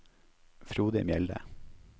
Frode Mjelde